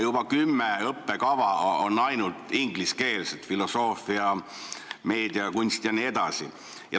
Juba kümme õppekava on ainult ingliskeelsed: filosoofia, meediakunst jne.